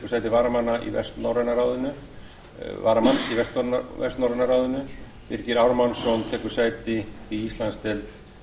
þórðardóttir tekur sæti varamanns í vestnorræna ráðinu birgir ármannsson tekur sæti í íslandsdeild